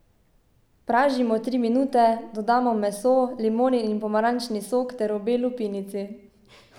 Pražimo tri minute, dodamo meso, limonin in pomarančni sok ter obe lupinici.